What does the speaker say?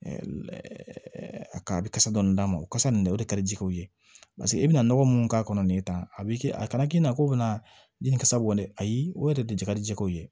A ka a bɛ kasa dɔɔni d'a ma o kasa nin de ka di u ye paseke i bɛna nɔgɔ mun k'a kɔnɔ nin ta a b'i kɛ a kana k'i na ko bɛna nin sabu dɛ ayi o yɛrɛ de ka di jɛgɛw ye